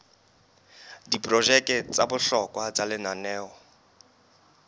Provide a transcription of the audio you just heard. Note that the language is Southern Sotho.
diprojeke tsa bohlokwa tsa lenaneo